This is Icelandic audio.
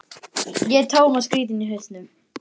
Ætlaði að vera hættur fyrir löngu.